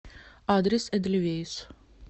адрес эдельвейс